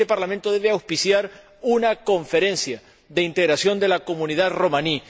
Este Parlamento debe auspiciar una conferencia de integración de la comunidad romaní.